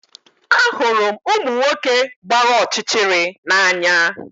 Ahụrụ m ụmụ nwoke gbara ọchịchịrị n'anya